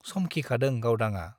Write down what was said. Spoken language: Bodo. समखिखादों गावदांआ ।